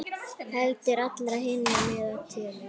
Heldur allra hinna með tölu.